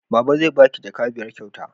Baba zai ba ki jaka biyar kyauta